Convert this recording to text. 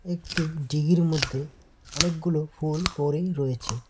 একটি ডিগির মধ্যে অনেকগুলো ফুল পড়েই রয়েছে।